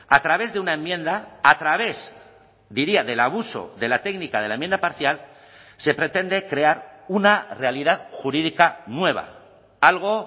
a través de una enmienda a través diría del abuso de la técnica de la enmienda parcial se pretende crear una realidad jurídica nueva algo